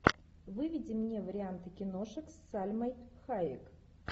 выведи мне варианты киношек с сальмой хайек